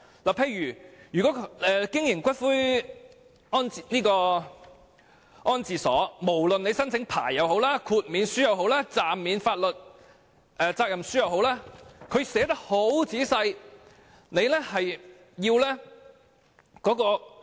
例如，就經營骨灰安置所的規定，無論在申請牌照、豁免書或暫免法律責任書方面，政府都撰寫得相當仔細。